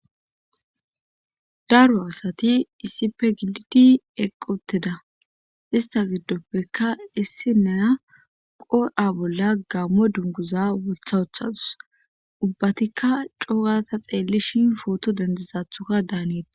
Daro asati issipe gididi eqqutteda ista giddoppeka issi naya qorha bolla gammo dunguza wothawuthadus ubbatikka coogata xeelli shin pooto dendizathuka daaneta